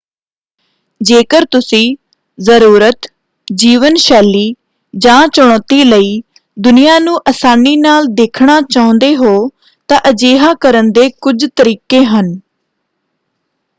ਜੇਕਰ ਤੁਸੀਂ ਜ਼ਰੂਰਤ, ਜੀਵਨ ਸ਼ੈਲੀ ਜਾਂ ਚੁਣੌਤੀ ਲਈ ਦੁਨੀਆਂ ਨੂੰ ਆਸਾਨੀ ਨਾਲ ਦੇਖਣਾ ਚਾਹੁੰਦੇ ਹੋ ਤਾਂ ਅਜਿਹਾ ਕਰਨ ਦੇ ਕੁਝ ਤਰੀਕੇ ਹਨ।